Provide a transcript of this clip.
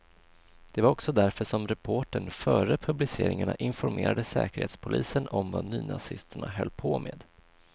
Det var också därför som reportern före publiceringarna informerade säkerhetspolisen om vad nynazisterna höll på med.